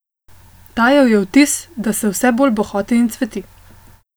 Dajal je vtis, da se vse bolj bohoti in cveti.